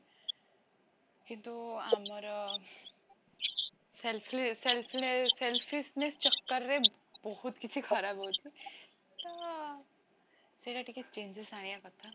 କିନ୍ତୁ ଆମର selfishness ରେ ବହୁତ କିଛି ଖରାପ ହୋଉଛି ତ ସେଟା ଟିକେ changes ଆଣିବା କଥା